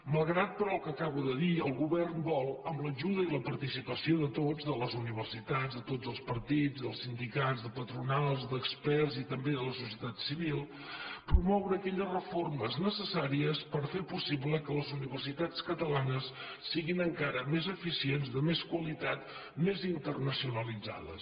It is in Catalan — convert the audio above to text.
malgrat però el que acabo de dir el govern vol amb l’ajuda i la parti·cipació de tots de les universitats de tots els partits dels sindicats de patronals d’experts i també de la so·cietat civil promoure aquelles reformes necessàries per fer possible que les universitats catalanes siguin en·cara més eficients de més qualitat més internaciona·litzades